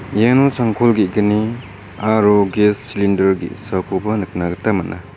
iano changkol ge·gni aro ges silinder ge·sakoba nikna gita man·a.